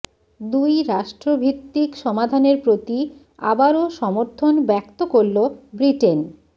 দুই রাষ্ট্রভিত্তিক সমাধানের প্রতি আবারো সমর্থন ব্যক্ত করল ব্রিটেন